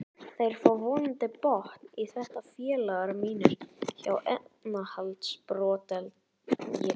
Þeir fá vonandi botn í þetta félagar mínir hjá efnahagsbrotadeild.